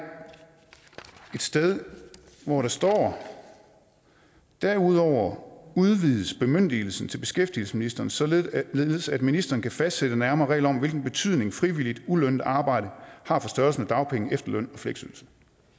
sted hvor der står derudover udvides bemyndigelsen til beskæftigelsesministeren således at ministeren kan fastsætte nærmere regler om hvilken betydning frivilligt ulønnet arbejde har for størrelsen af dagpenge efterløn og fleksydelse